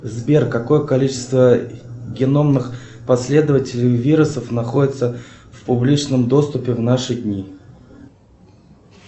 сбер какое количество геномных последователей вирусов находится в публичном доступе в наши дни